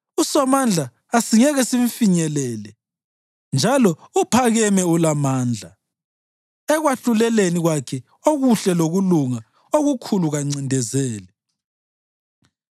USomandla asingeke simfinyelele njalo uphakeme ulamandla; ekwahluleleni kwakhe okuhle lokulunga okukhulu kancindezeli.